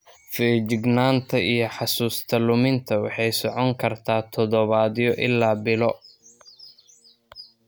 Feejignaanta iyo xusuusta luminta waxay socon kartaa toddobaadyo ilaa bilo.